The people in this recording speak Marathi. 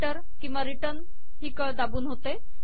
हे एण्टर किंवा रिटर्न ही कळ दाबून होते